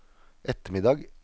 ettermiddag